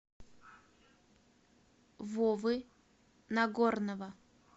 вовы нагорнова